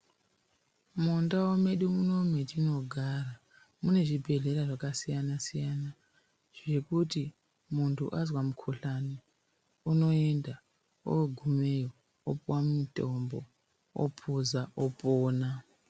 Mundau medu munomu metinogara, mune zvibhedhlera zvakasiyana-siyazvekuti muntu azwa mukhuhlani unoenda ogumeyo opuwa mutombo ophuza opona.